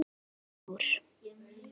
Mýrar og mór